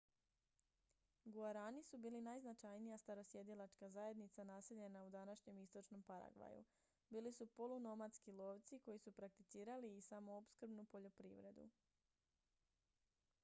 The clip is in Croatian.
guarani su bili najznačajnija starosjedilačka zajednica naseljena u današnjem istočnom paragvaju bili su polunomadski lovci koji su prakticirali i samoopskrbnu poljoprivredu